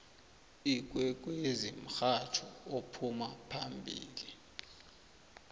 ikwekwezi mhatjho ophuma phambili